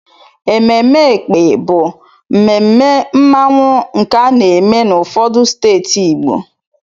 Ememe Ékpè bụ mmemme mmanwụ nke ana-eme n'ụfọdụ steeti Igbo.